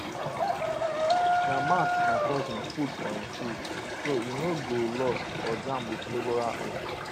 na mark my cousin put for him tools so e no go lost or jam with labourer own